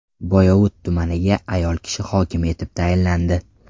Boyovut tumaniga ayol kishi hokim etib tayinlandi.